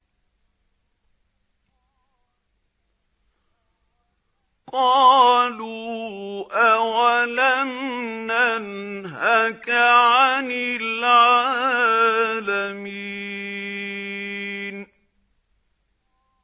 قَالُوا أَوَلَمْ نَنْهَكَ عَنِ الْعَالَمِينَ